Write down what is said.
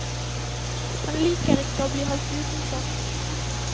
Han liker ikke å bli holdt utenfor.